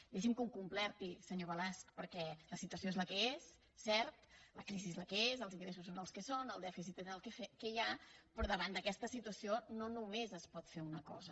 deixi’m que ho completi senyor balasch perquè la situació és la que és cert la crisi és la que és els ingressos són els que són el dèficit és el que hi ha però davant d’aquesta situació no només es pot fer una cosa